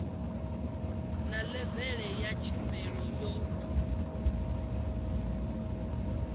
na levele ya tshumelo yo